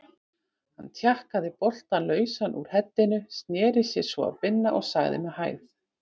Hann tjakkaði boltann lausan úr heddinu, sneri sér svo að Binna og sagði með hægð